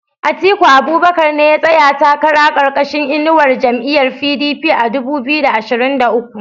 Atiku Abubakar ne ya tsaya takara karkashin inuwar jam'iyar PDP a dubu biyu da ashirin da uku